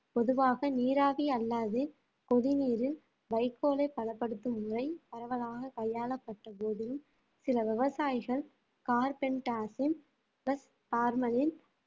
பொதுவாக நீராவி அல்லாது கொதிநீரில் வைக்கோலை பதப்படுத்தும் முறை பரவலாக கையாளப்பட்ட போதிலும் சில விவசாயிகள் plus பார்மலின்